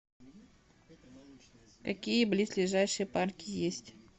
какие близлежащие парки есть